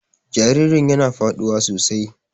Jaririn yana faduwa sosai.